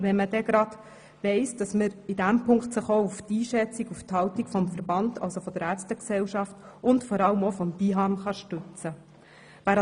Angesichts der Einschätzung und Haltung der Ärztegesellschaft und vor allem auch des BIHAM erachten wir das als verfrüht.